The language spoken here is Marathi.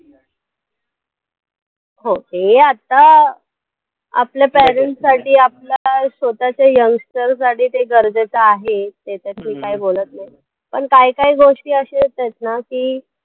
हो हे आता आपल्या parents साठी आपल्या स्वतःच्या youngster साठी ते गरजेचं आहे, त्याच्यात मी काही बोलतं नाही पण काही काही गोष्टी अश्या आहेत येतात ना की